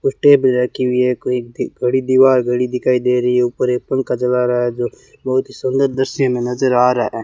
कुछ टेप रखी हुई है कोई घड़ी दीवार घड़ी दिखाई दे रही है ऊपर एक पंखा चला रहा है जो बहुत ही सुंदर दृश्य में नजर आ रहा है।